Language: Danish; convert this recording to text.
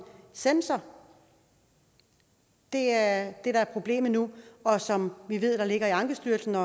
sensor det er det der er problemet nu og som vi ved ligger i ankestyrelsen